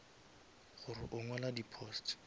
gore o ngwala di posts